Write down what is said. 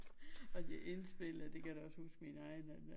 Og de indspillede det kan jeg da også huske min egen at